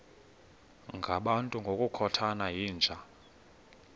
ngabantu ngokukhothana yinja